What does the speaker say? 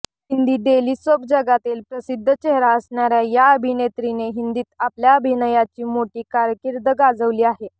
Hindi daily soap जगतातील प्रसिद्ध चेहरा असणाऱया या अभिनेत्रीने हिंदीत आपल्या अभिनयाची मोठी कारकीर्द गाजवली आहे